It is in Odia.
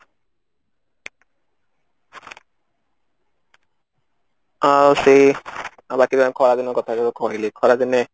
ଆଉ ସେଇ ଆଉ ବାକି ରହିଲା ଖରା ଦିନ କଥା ତ କହିଲି ଖରା ଦିନେ